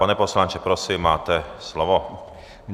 Pane poslanče, prosím, máte slovo.